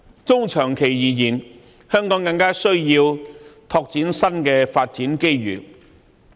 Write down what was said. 中長期而言，香港更需要拓展新的發展機遇。